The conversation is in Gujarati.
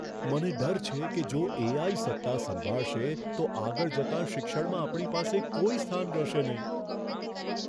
મને ડર છે કે જો એ.આઈ. સત્તા સંભાળશે, તો આગળ જતાં શિક્ષણમાં આપણી પાસે કોઈ સ્થાન રહેશે નહીં.